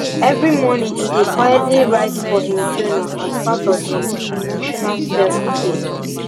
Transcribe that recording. every morning he dey quietly write for him journal as part of him emotional selfcare